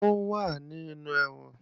Ó wà nínú ẹ̀wọ̀n